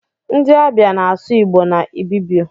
Ndi abia na asụ igbo na ibibio.